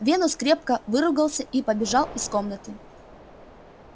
венус крепко выругался и побежал из комнаты